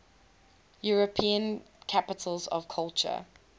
european capitals of culture